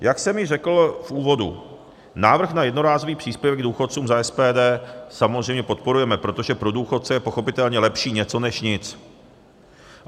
Jak jsem již řekl v úvodu, návrh na jednorázový příspěvek důchodcům za SPD samozřejmě podporujeme, protože pro důchodce je pochopitelně lepší něco než nic.